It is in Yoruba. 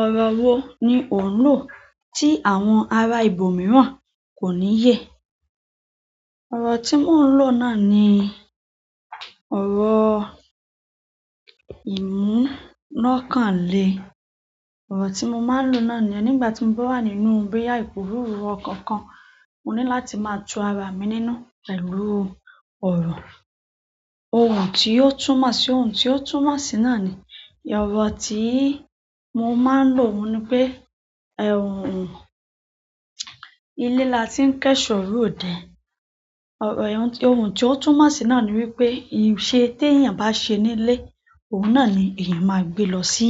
Ọ̀rọ̀ wo ni ò ń lò tí àwọn ará ibo mìíràn kò ní yẹ? Ọ̀rọ̀ tí mo ń lò náà ni ọ̀rọ̀ ìmú lọ́kàn lé. Ọ̀rọ̀ tí mo máa ń lò náà nìyẹn nígbà tí mo bá wà nínú bóyá iporuru ọkan kan, mo ní láti máa tu ara mi nínú pẹ̀lú ọ̀rọ̀ ohùn tí yóò túmọ̀ sí ohùn tí yóò túmọ̀ sí náà ni ẹ̀rọ̀ tí mo máa ń lò ohun ní pé, "ilé la ti ń kẹ́ṣọ̀ọ́ ròde". Ohun tí ó túnmọ̀ sí náà ni wípé iṣẹ́ te èèyàn bá ṣe nílé, ohun náà ni èèyàn máa gbé lọ sí